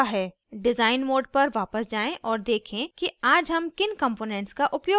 design mode पर वापस जाएँ और देखें कि आज हम किन components का उपयोग करेंगे